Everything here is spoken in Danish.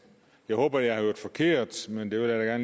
jeg håber jeg har hørt forkert men det vil jeg